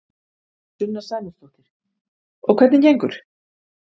Sunna Sæmundsdóttir: Og hvernig gengur?